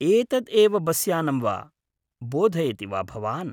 एतद् एव बस् यानं वा, बोधयति वा भवान्?